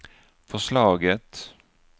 förslaget